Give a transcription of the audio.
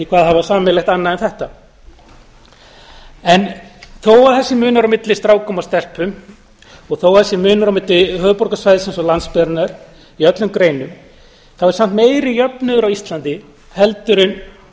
hafa sameiginlegt annað en þetta þó að það sé munur á milli stráka og stelpna og þó að það sé munur á milli höfuðborgarsvæðisins og landsbyggðarinnar í öllum greinum er samt meiri jöfnuður á íslandi en